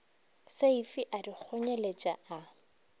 seifi a di kgonyeletša a